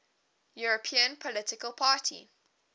european political party